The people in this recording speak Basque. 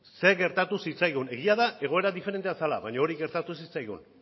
zer gertatu zitzaigun egia da egoera diferentea zela baina hori gertatu zitzaigun